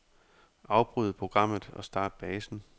Afbryd programmet og start basen.